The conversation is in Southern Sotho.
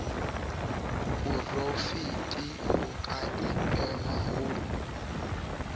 porafete ho ka ipehwa ho